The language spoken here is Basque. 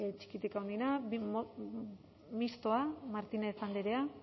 txikitik handienera mistoa martínez andrea